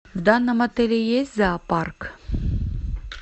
в данном отеле есть зоопарк